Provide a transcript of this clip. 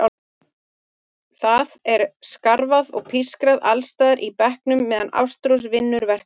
Það er skrafað og pískrað alls staðar í bekknum meðan Ástrós vinnur verk sitt.